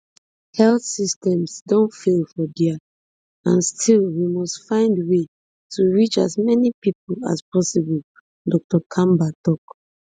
health systems don fail for dia and still we must find way to reach as many pipo as possible dr kamba tok